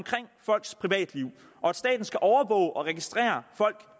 folks privatliv og at staten skal overvåge og registrere folk